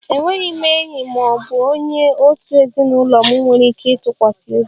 Enweghị m enyi ma ọ bụ onye òtù ezinụlọ m nwere ike ịtụkwasị obi